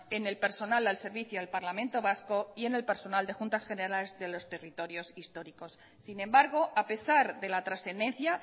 en el personal al servicio al parlamento vasco y en el personal de juntas generales de los territorios históricos sin embargo a pesar de la trascendencia